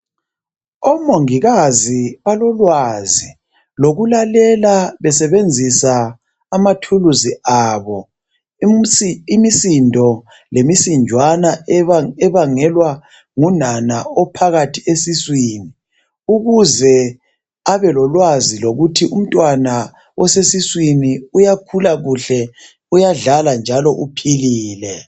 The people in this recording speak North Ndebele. Omongikazi balolwazi lokulalela besebenzisa amathuluzi abo, umsi imisindo lemisinjwana ebangelwa ngunana ophakathi osesiswini ukuze abe lolwazi lokuthi umtwana osesiswini uyakhula kuhle, uyadlala, njalo uphilile.